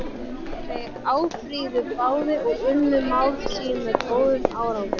Þeir áfrýjuðu báðir og unnu mál sín með góðum árangri.